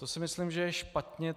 To si myslím, že je špatně.